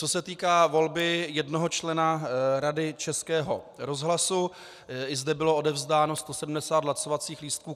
Co se týká volby jednoho člena Rady Českého rozhlasu, i zde bylo odevzdáno 170 hlasovacích lístků.